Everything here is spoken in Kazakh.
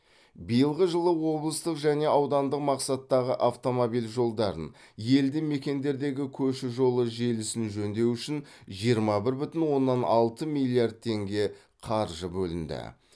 биылғы жылы облыстық және аудандық мақсаттағы автомобиль жолдарын елді мекендердегі көше жолы желісін жөндеу үшін жиырма бір бүтін оннан алты миллиард теңге қаржы бөлінді